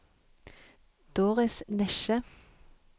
Doris Nesje